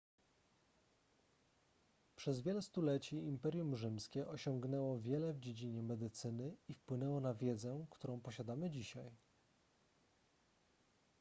przez wiele stuleci imperium rzymskie osiągnęło wiele w dziedzinie medycyny i wpłynęło na wiedzę którą posiadamy dzisiaj